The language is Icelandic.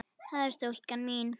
það er stúlkan mín.